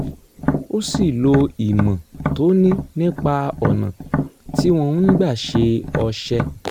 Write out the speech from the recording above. ó sì lo ìmọ̀ tó ní nípa ọ̀nà tí wọ́n ń gbà ṣe ọṣẹ